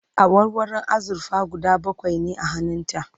awarwarun azurfa guda bakwai ne a hannun ta